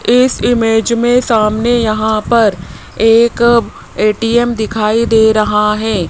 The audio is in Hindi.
इस इमेज मे सामने यहां पर एक ए_टी_म दिखाई दे रहा है।